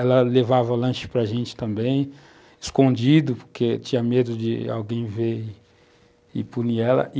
Ela levava o lanche para a gente também, escondido, porque tinha medo de alguém ver e punir ela.